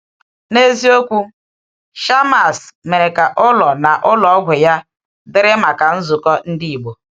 N’eziokwu, Shammas mere ka ụlọ na ụlọ ọgwụ ya dịrị maka nzukọ Ndị Ìgbò.